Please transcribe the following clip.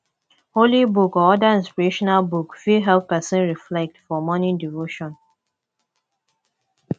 holy book or oda inspirational book fit help person reflect for morning devotion